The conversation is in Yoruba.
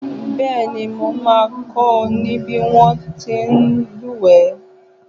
Bẹ́ẹ̀ni, mo máa kọ́ ọ ní bí wón ti ń lúùwẹ́.